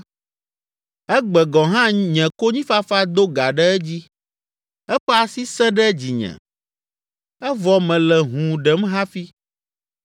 “Egbe gɔ̃ hã nye konyifafa do gã ɖe edzi, eƒe asi sẽ ɖe dzinye, evɔ mele hũu ɖem hafi.